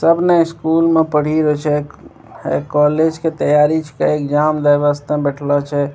तब ना स्कूल में पढ़ी रह छे है कॉलेज के तैयारी कैल एग्जाम वयवस्था में बैठलो छे।